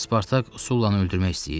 Spartak Sullanı öldürmək istəyir?